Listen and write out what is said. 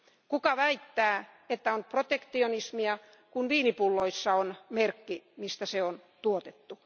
Kuka väittää, että on protektionismia, kun viinipulloissa on merkki, missä se on tuotettu?